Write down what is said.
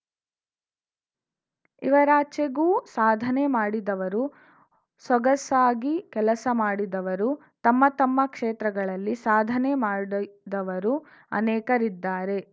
ಇವರಾಚೆಗೂ ಸಾಧನೆ ಮಾಡಿದವರು ಸೊಗಸಾಗಿ ಕೆಲಸ ಮಾಡಿದವರು ತಮ್ಮ ತಮ್ಮ ಕ್ಷೇತ್ರಗಳಲ್ಲಿ ಸಾಧನೆ ಮಾಡಿದವರು ಅನೇಕರಿದ್ದಾರೆ